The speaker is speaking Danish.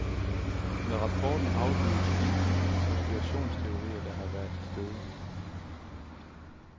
Med rapporten aflives de konspirationsteorier, der har været til stede.